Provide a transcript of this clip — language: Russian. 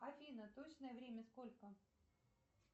афина точное время сколько